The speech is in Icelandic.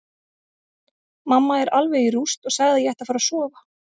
Mamma er alveg í rúst og sagði að ég ætti að fara að sofa.